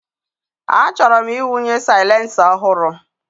Achọrọ m ịwụnye silencer ọhụrụ.